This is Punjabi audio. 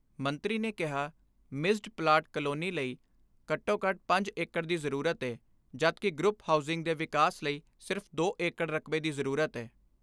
ਮੰਤਰੀ ਨੇ ਕਿਹਾ ਮਿਸਸਡ ਪਲਾਟ ਕਾਲੋਨੀ ਲਈ ਘੱਟੋ ਘੱਟ ਪੰਜ ਏਕੜ ਦੀ ਜਰੂਰਤ ਜਦਕਿ ਗਰੁੱਪ ਹਾਊਸਿੰਗ ਦੇ ਵਿਕਾਸ ਲਈ ਸਿਰਫ ਦੋ ਏਕੜ ਰਕਬੇ ਦੀ ਜਰੂਰਤ ਏ।